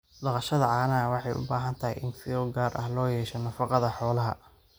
Dhaqashada caanaha waxay u baahan tahay in fiiro gaar ah loo yeesho nafaqada xoolaha.